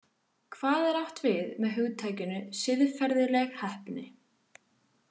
Hvað er átt við með hugtakinu siðferðileg heppni?